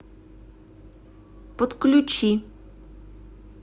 подключи